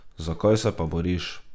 Za kaj se pa boriš?